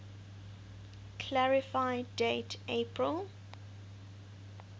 clarify date april